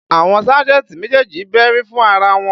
Àwọn sájẹ̀ntì méjèèjì bẹ́rí fún ara wọn